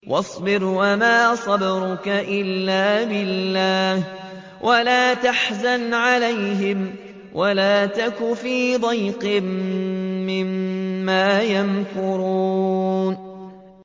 وَاصْبِرْ وَمَا صَبْرُكَ إِلَّا بِاللَّهِ ۚ وَلَا تَحْزَنْ عَلَيْهِمْ وَلَا تَكُ فِي ضَيْقٍ مِّمَّا يَمْكُرُونَ